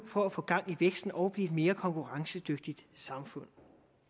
for at få gang i væksten og blive et mere konkurrencedygtigt samfund